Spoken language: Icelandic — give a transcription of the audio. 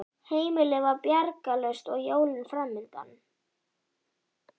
Heimilið var bjargarlaust og jólin framundan.